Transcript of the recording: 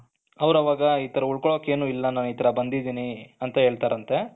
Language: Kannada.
ಅವರು ಅವಾಗ ನಾನು ಉಳ್ಕೊಣಕ್ಕೆ ಏನು ಇಲ್ಲ ನಾನು ಇತರ ಬಂದಿದ್ದೀನಿ ಅಂತ ಹೇಳ್ತಾರಂತೆ